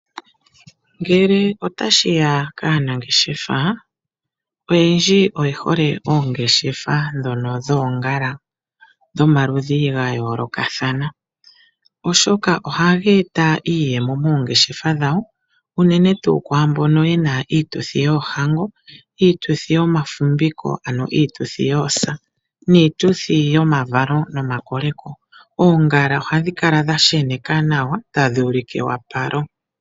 Ngele otashiya kaanangeshefa oyendji oye hole oongeshefa ndhono dhoongala dhomaludhi ga yoolokathana, oshoka ohaga eta iiyemo moongeshefa dhawo unene tuu kwaambono yena iituthi yoohango, iituthi yomafumviko ano iituthi yoosa niituthi yomavalo nomakoleko. Oongala ohadhi kala dha sheneka nawa tadhi ulike ewapalo.